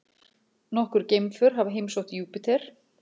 Nokkur geimför hafa heimsótt Júpíter.